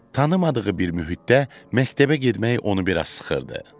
Tanımadığı bir mühitdə məktəbə getmək onu bir az sıxırdı.